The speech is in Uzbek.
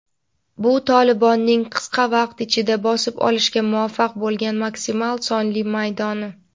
Bu "Tolibon"ning qisqa vaqt ichida bosib olishga muvaffaq bo‘lgan maksimal sonli maydoni.